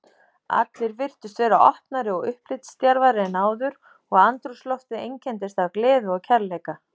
Allir virtust vera opnari og upplitsdjarfari en áður og andrúmsloftið einkenndist af gleði og kærleika.